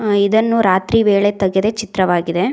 ಆ ಇದನ್ನು ರಾತ್ರಿ ವೇಳೆ ತಗೆದ ಚಿತ್ರವಾಗಿದೆ.